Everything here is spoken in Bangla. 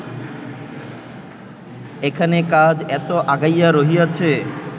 এখানে কাজ এত আগাইয়া রহিয়াছে